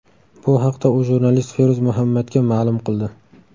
Bu haqda u jurnalist Feruz Muhammadga ma’lum qildi.